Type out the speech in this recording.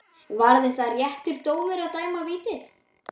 Var þetta réttur dómur að dæma vítið?